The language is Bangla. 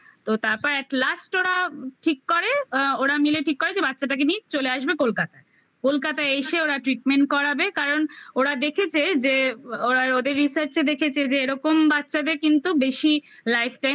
তো তারপর atlast ওরা ঠিক করে ওরা মিলে ঠিক করে যে বাচ্চাটাকে নিয়ে চলে আসবে কলকাতায় । কলকাতা এসে ওরা treatment করাবে কারণ ওরা দেখেছে যে ওরা ওদের research -এ দেখেছে যে এরকম বাচ্চাদের কিন্তু বেশি life time